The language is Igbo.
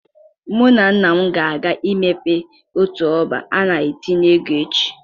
Mụ na nna m ga-aga imepe otu ọbá a na-etinye ego echi